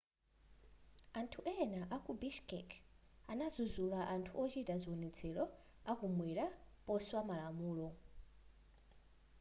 anthu ena aku bishkek anadzudzula anthu ochita zionetselo akumwera poswa malamulo